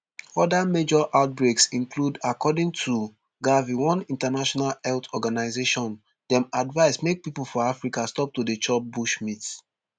oda major outbreaks include according to gavi one international health organisation dem advice make pipo for africa stop to dey chop bushmeat